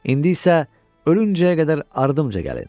İndi isə ölüncəyə qədər ardımca gəlin!